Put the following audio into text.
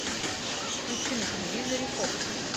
включи на телевизоре фокс